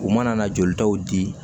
U mana na jolitaw di